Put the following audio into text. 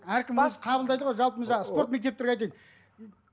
әркім өзі қабылдайды ғой жалпы мына жаңағы спорт мектептерге айтайын